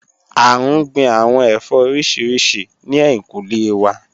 A n gbin awọn ẹfọ oriṣiriṣi ni ẹhin kule wa.